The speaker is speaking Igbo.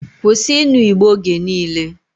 Kwusi inu igbo oge niile!